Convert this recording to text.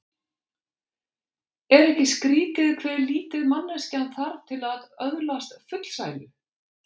Er ekki skrýtið hve lítið manneskjan þarf til að öðlast fullsælu?